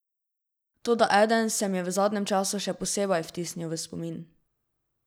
Toda eden se mi je v zadnjem času še posebej vtisnil v spomin.